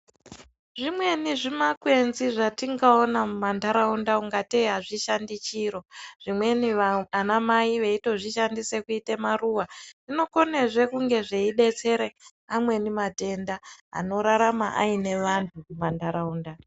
Zvimweni zvimakwenzi zvatingaona mumantaraunda kungatei azvishandi chiro zvimweni vana mai vanozvishandisa kuite maruwa Zvinokone zve kunge zveidetsere amweni matenda anorarame aine vantu pantaraunda.